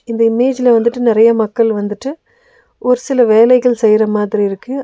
இந்த இமேஜ்ல வந்துட்டு நெறைய மக்கள் வந்துட்டு ஒரு சில வேலைகள் செய்ற மாதிரி இருக்கு.